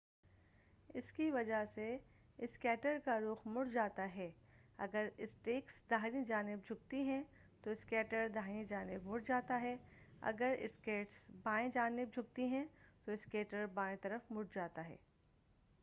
اسکی وجہ سے اسکیٹر کا رخ مڑ جاتا ہے اگر اسکیٹس داہنی جانب جھکتی ہیں تو اسکیٹر داہنی طرف مڑ جاتا ہے اگر اسکیٹس بائیں جانب جھکتی ہیں تو اسکیٹر بائیں طرف مڑ جاتا ہے